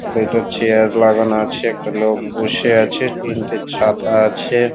দুটো চেয়ার লাগানো আছে একটা লোক বসে আছে তিনটে ছাতা আছে।